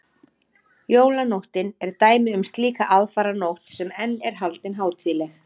jólanóttin er dæmi um slíka aðfaranótt sem enn er haldin hátíðleg